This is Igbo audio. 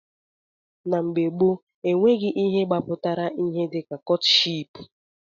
Na mgbe gboo, enweghị ihe gbapụtara ihe dịka kọtship